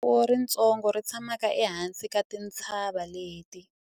ku na rixakamfuwo ritsongo ri tshamaka ehansi ka tintshava leti